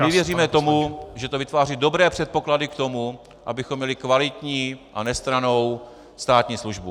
My věříme tomu, že to vytváří dobré předpoklady k tomu, abychom měli kvalitní a nestrannou státní službu.